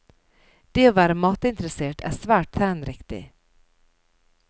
Det å være matinteressert er svært trendriktig.